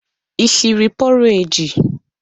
Ị siri pọreji?